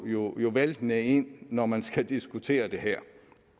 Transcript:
jo væltende ind når man skal diskutere det her